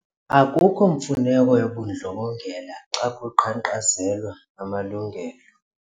Akukho mfuneko yobundlobongela xa kuqhankqalazelwa amalungelo.